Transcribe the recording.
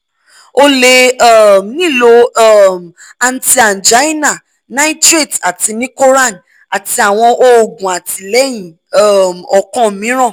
o le um nilo um anti angina nitrates ati nicoran ati awọn oogun atilẹyin um ọkan miiran